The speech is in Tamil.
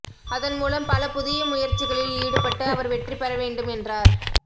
அதன் மூலம் பல புதிய முயற்சிகளில் ஈடுபட்டு அவர் வெற்றி பெற வேண்டும் என்றார்